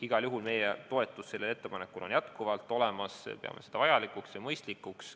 Igal juhul on meie toetus sellele ettepanekule jätkuvalt olemas, me peame seda vajalikuks ja mõistlikuks.